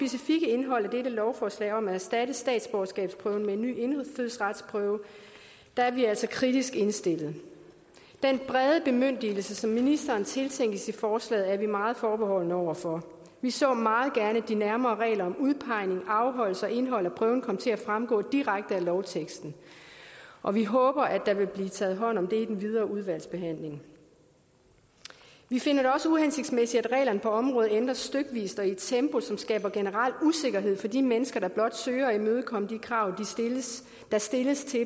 indhold af dette lovforslag om at erstatte statsborgerskabsprøven med en ny indfødsretsprøve er vi altså kritisk indstillet den brede bemyndigelse som ministeren tiltænkes i forslaget er vi meget forbeholdne over for vi så meget gerne at de nærmere regler om udpegning afholdelse og indhold af prøven kom til at fremgå direkte af lovteksten og vi håber at der vil blive taget hånd om det i den videre udvalgsbehandling vi finder det også uhensigtsmæssigt at reglerne på området ændres stykvis og i et tempo som skaber generel usikkerhed for de mennesker der blot søger at imødekomme de krav der stilles til